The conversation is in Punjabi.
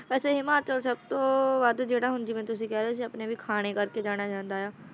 ਅਠਾਈਵਾਂ ਕਲਪਨਾਵਾਂ ਦ੍ਰਿੜਾਉਂਦੀ ਹੈ ਸਵਿਟਰਜ਼ਲੈਂਡ ਖਾਣੇ ਦਾ ਟਿਕਾਣਾਂ ਅਕਾਰ ਰੰਗ ਵਿਖਾਵੇਗਾ ਦਿਹਾੜਾ ਮਨਾਇਆ